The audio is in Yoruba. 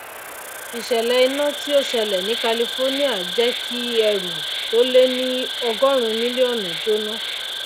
ìsèlè iná tí ó sẹlè ní california jé kí ẹrù tó lé ní ọgórun mílíónù jóná